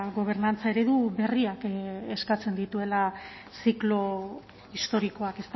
gobernantza eredu berriak eskatzen dituela ziklo historikoak